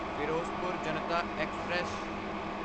Firozpur Janta express